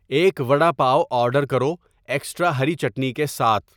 ایک وڈا پاو آرڈر کرو ایکسٹرا ہری چٹنی کے ساتھ